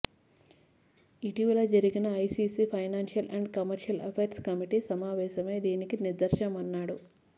ఇటీవల జరిగిన ICC financial and commercial affairs committee సమావేశమే దీనికి నిదర్శనమన్నాడు